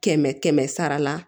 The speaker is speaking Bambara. Kɛmɛ kɛmɛ sara la